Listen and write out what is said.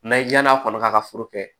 N'a ye yann'a kɔni k'a ka foro kɛ